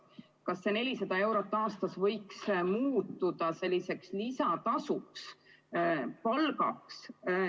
Kas see 400 eurot aastas võiks muutuda selliseks lisatasuks, palgaks?